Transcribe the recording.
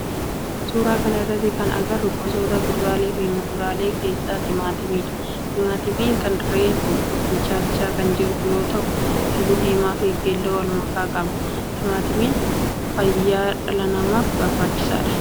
Suuraa kana irratti kan agarru gosoota kuduraalee fi muduraalee keessaa timaatimadha. Timaatimni kun reefu bilchaachaa kan jiru yoo ta'u halluu diimaa fi keelloo walmakaa qaba. Timaatimni fayyaa dhala namaaf barbaachisaadha.